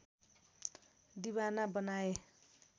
दिवाना बनाए